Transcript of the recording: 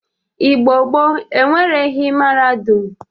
Igbo gboo enwereghi mahadum